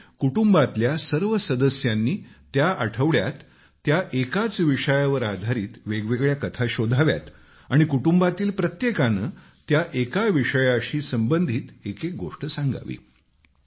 आणि कुटुंबातल्या सर्व सदस्यांनी त्या आठवड्यात त्या एकाच विषयावर आधारित वेगवेगळ्या कथा शोधाव्यात आणि कुटुंबातील प्रत्येकाने त्या एका विषयाशी संबंधित एक एक गोष्ट सांगावी